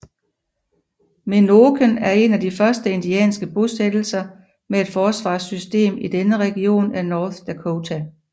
Menoken er en af de første indianske bosættelser med et forsvarssystem i denne region af North Dakota